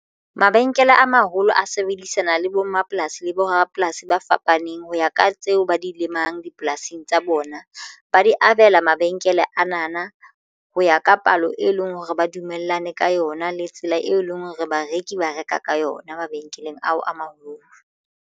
Mabenkele a maholo a sebedisana le bo mmapolasi le bo rapolasi ba fapaneng ho ya ka tseo ba di lemang dipolasing tsa bona ba di abela mabenkele ana na ho ya ka palo e leng hore ba dumellane ka yona le tsela e leng hore bareki ba reka ka yona mabenkeleng ao a maholo.